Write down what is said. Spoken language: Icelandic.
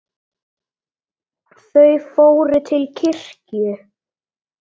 Þau fór til kirkju.